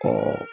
Ka